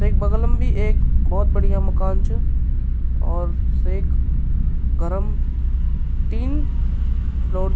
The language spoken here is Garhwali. तेक बगलं भी एक भौत बढ़िया मकान च और सेक घरम तीन लोग।